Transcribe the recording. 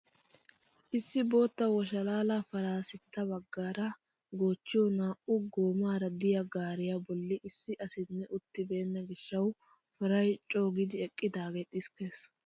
Issi bootta washalaala paray sintta baggaara goochchiyoo naa"u goomara de'iyaa gaariyaa bolli issi asinne uttibenna gishshawu paray coogidi eqqidaage xiskkees!